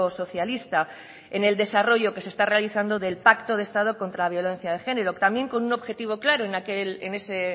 socialista en el desarrollo que se está realizando del pacto de estado contra violencia de género también con un objetivo claro en ese